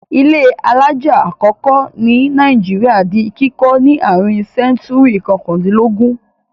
Ilé alájà àkọ́kọ́ ní Nàìjíríà di kíkọ́ ní àárín sẹ́ńtúrì kọkàndínlógún.